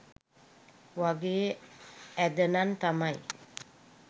වගේ ඇද නං තමයි.